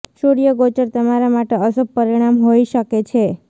સૂર્ય ગોચર તમારા માટે અશુભ પરિણામ હોઈ શકે છે